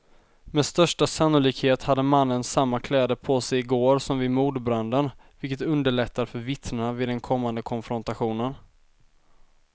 Med största sannolikhet hade mannen samma kläder på sig i går som vid mordbranden, vilket underlättar för vittnena vid den kommande konfrontationen.